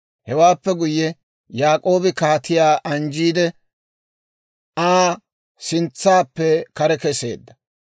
Hewaappe guyye, Yaak'oobi kaatiyaa anjjiide, Aa sintsaappe kare kesseedda.